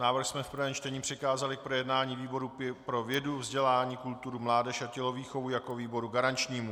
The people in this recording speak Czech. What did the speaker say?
Návrh jsme v prvém čtení přikázali k projednání výboru pro vědu, vzdělání, kulturu, mládež a tělovýchovu jako výboru garančnímu.